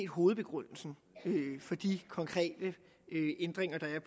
hovedbegrundelsen for de konkrete ændringer der